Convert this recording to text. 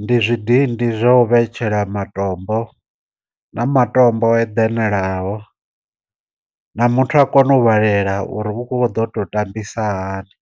ndi zwidindi zwa u vhetshela matombo, na matombo o eḓenelaho, na muthu a kone u vhalela uri hu kho ḓo to tambisa hani.